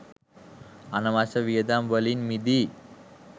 අනවශ්‍ය වියදම් වලින් මිදී